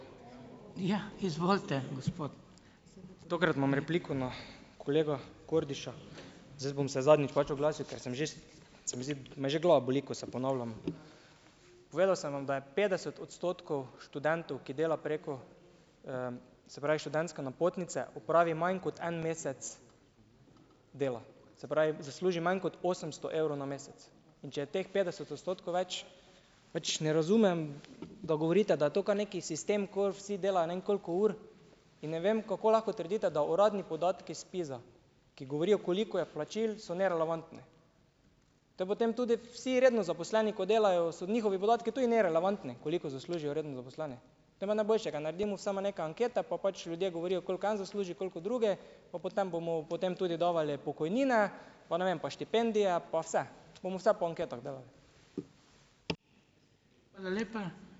Tokrat imam repliko na kolega Kordiša. Zdaj, bom se zadnjič pač oglasil, ker sem že se mi zdi, me že glava boli, ko se ponavljam. Povedal sem vam, da je petdeset odstotkov študentov, ki dela preko, se pravi, študentske napotnice, opravi manj kot en mesec dela, se pravi, zasluži manj kot osemsto evrov na mesec, in če je teh petdeset odstotkov več, več ne razumem, da govorite, da je to kar neki sistem, ko vsi delajo ne vem koliko ur, in ne vem, kako lahko trdite, da uradni podatki ZPIZ-a, ki govorijo, koliko je plačil, so nerelevantni. Te potem tudi vsi redno zaposleni, ko delajo, so njihovi podatki tudi nerelevantni, koliko zaslužijo redno zaposleni. Te pa najboljše, ka naredimo samo neke ankete pa pač ljudje govorijo, koliko en zasluži, koliko drugi, pa potem bomo potem tudi dajali pokojnine pa ne vem pa štipendije pa vse bomo vse po anketah delali.